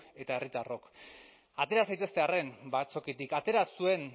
eta herritarrok atera zaitezte arren batzokitik atera zuen